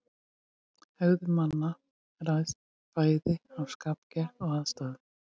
Hegðun manna ræðst bæði af skapgerð og aðstæðum.